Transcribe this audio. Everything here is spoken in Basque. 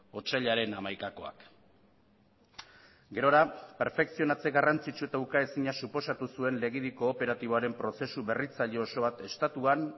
otsailaren hamaikakoak gerora perfekzionatze garrantzitsu eta ukaezina suposatu zuen legedi kooperatiboaren prozesu berritzaile oso bat estatuan